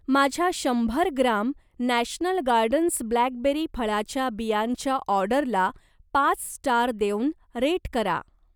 माझ्या शंभर gram national gardens blackberry फळाच्या बियांच्या ऑर्डरला पाच स्टार देऊन रेट करा.